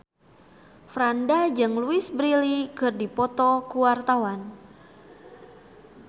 Franda jeung Louise Brealey keur dipoto ku wartawan